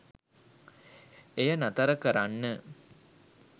එය නතර කරන්න